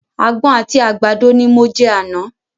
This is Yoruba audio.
Àgbọn àti àgbàdo ni mo jẹ àná.